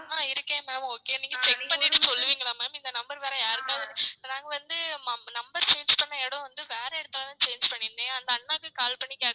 ஆஹ் இருக்கேன் ma'am okay நீங்க check பண்ணிட்டு சொல்லுவீங்களா ma'am இந்த number வேற யாருக்காவுது நாங்க வந்து number change பண்ண இடம் வேற இடத்துலதான் change பண்ணிருந்தேன் அந்த அண்ணாக்கு call பண்ணி கேட்டேன்